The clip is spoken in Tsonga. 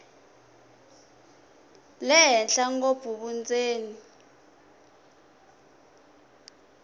le henhla ngopfu vundzeni